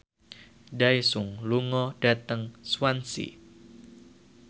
Daesung lunga dhateng Swansea